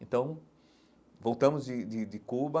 Então, voltamos de de de Cuba,